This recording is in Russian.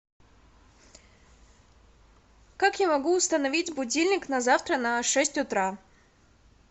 как я могу установить будильник на завтра на шесть утра